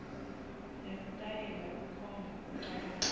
nesitayela kukhomba kucabanga